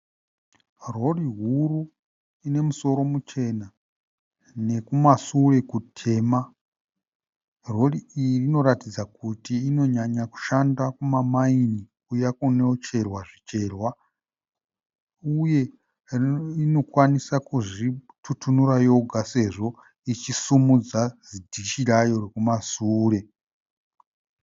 Rori huru ine musoro muchena nekumasure kutema. Rori iyi inoratidza kuti inonyanya kushanda kuma maini kuya kunocherwa zvicherwa uye inokwanisa kuzvitutunura yoga sezvo ichisumudza zidishi rayo rekumashure.